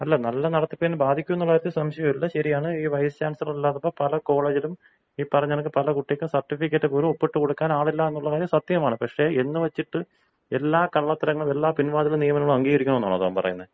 അല്ല. നല്ല നടത്തിപ്പിനെ ബാധിക്കും എന്നുള്ള കാര്യത്തിൽ സംശയമില്ല ശരിയാണ്. ഈ വൈസ് ചാൻസ്ലർ ഇല്ലാത്തപ്പോൾ പല കോളേജിലും ഈ പറഞ്ഞ കണക്കിന് പല കുട്ടികൾക്കും സർട്ടിഫിക്കറ്റ് പോലും ഒപ്പിട്ടു കൊടുക്കാൻ ആളില്ല എന്നുള്ള കാര്യം സത്യമാണ്. പക്ഷെ എന്ന് വച്ചിട്ട് എല്ലാ കള്ളത്തരങ്ങളും എല്ലാ പിൻവാതിൽ നിയമനങ്ങളും അംഗീകരിക്കണം എന്നാണോ താൻ പറയുന്നെ?